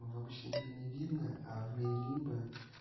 в обычном мире не видно а в мире лимбо